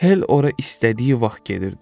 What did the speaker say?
Hell ora istədiyi vaxt gedirdi.